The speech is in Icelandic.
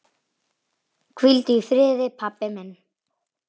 Hvíldu í friði, pabbi minn.